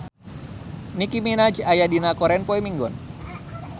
Nicky Minaj aya dina koran poe Minggon